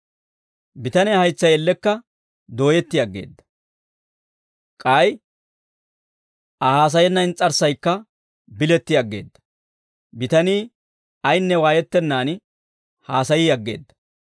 Bitaniyaa haytsay ellekka dooyetti aggeedda; k'ay Aa haasayenna ins's'arssaykka biletti aggeedda; bitanii ayinne waayettennan haasayii aggeedda.